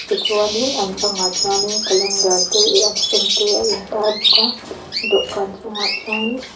tichuanin an bangah chuanin calendar te e an fan te a intar bawk a dawhkan chungah chuanin step --